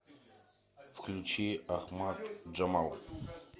включи ахмад джамал